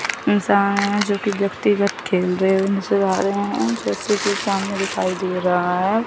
सामने में जो कि व्यक्तिगत खेल रहे हैं उनसे भाग रहे हैं जैसे कि सामने दिखाई दे रहा है।